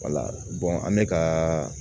an bɛ ka